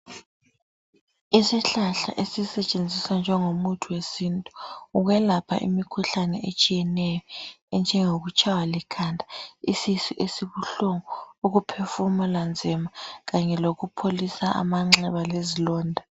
Isihlahla esisetshenziswa njengomuthi wesintu ukwelapha imikhuhlane etshiyeneyo enjengokutshaywa likhanda , isisu esibuhlungu, ukuphefumula nzima kanye lokupholisa amanxeba lezilonda.